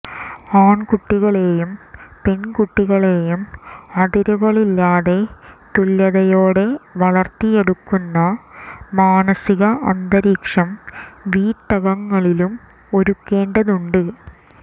ആൺകുട്ടികളെയും പെൺകുട്ടികളെയും അതിരുകളില്ലാതെ തുല്യതയോടെ വളർത്തിയെടുക്കുന്ന മാനസിക അന്തരീക്ഷം വീട്ടകങ്ങളിലും ഒരുക്കേണ്ടതുണ്ട്